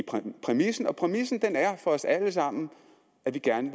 præmissen og præmissen er for os alle sammen at vi gerne